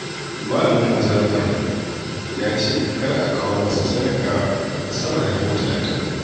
Malamin majami'armu ya ce kada a kawo masa sadaka sama da dubu talatin